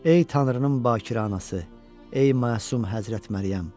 Ey Tanrının bakirə anası, ey məsum Həzrət Məryəm.